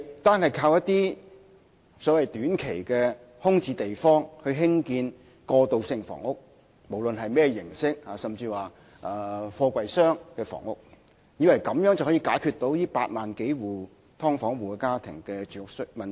單靠在一些短期空置用地興建過渡性房屋，無論是甚麼形式的房屋，甚至是貨櫃箱的房屋，根本無法解決8萬多"劏房戶"的住屋問題。